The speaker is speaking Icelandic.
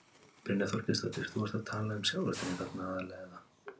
Brynja Þorgeirsdóttir: Þú ert að tala um sjávarútveginn þarna aðallega, eða?